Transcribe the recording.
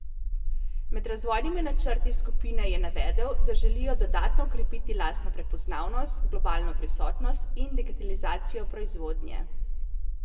Med razvojnimi načrti skupine je navedel, da želijo dodatno okrepiti lastno prepoznavnost, globalno prisotnost in digitalizacijo proizvodnje.